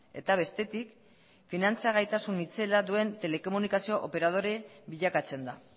eta bestetik finantza gaitasun itzela duen telekomunikazio operadore bilakatzen da